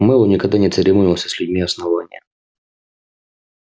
мэллоу никогда не церемонился с людьми основания